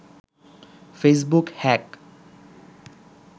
Facebook hack